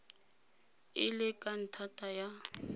e le ka ntata ya